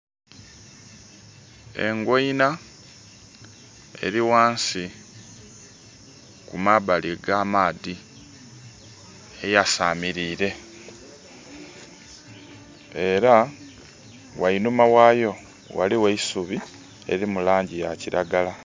Engoina eri wansi kumabali ga maadhi eyasamirire era wainuma waayo waliwo eisubi eri mulangi ya kiragala